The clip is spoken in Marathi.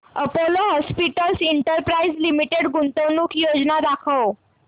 अपोलो हॉस्पिटल्स एंटरप्राइस लिमिटेड गुंतवणूक योजना दाखव